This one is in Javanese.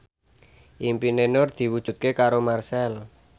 impine Nur diwujudke karo Marchell